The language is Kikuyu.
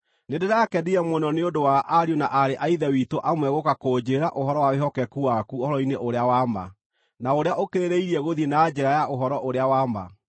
Nĩndĩrakenire mũno nĩ ũndũ wa ariũ na aarĩ a Ithe witũ amwe gũũka kũnjĩĩra ũhoro wa wĩhokeku waku ũhoro-inĩ ũrĩa wa ma, na ũrĩa ũkĩrĩrĩirie gũthiĩ na njĩra ya ũhoro ũrĩa wa ma.